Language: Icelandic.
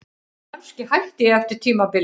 Kannski hætti ég eftir tímabilið.